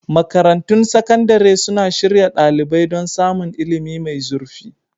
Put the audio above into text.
Makarantun sakandare suna shirya ɗalibai don samun ilimi mai zurfi.